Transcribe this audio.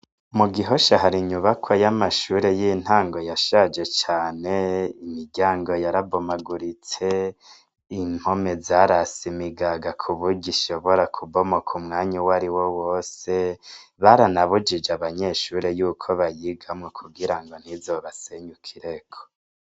Mugihosha hari inyubakwa y' amashure y' intango yashaje cane imiryango yarabomaguritse impome zarase imigaga kuburyo ishobora kubomoka umwanya wariwo wose baranabujije abanyeshure yuko bayigamwo kugira ntizobasenyukireko.